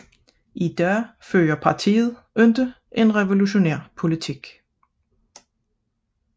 I dag fører partiet ikke en revolutionær politik